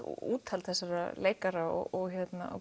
úthald þessara leikara og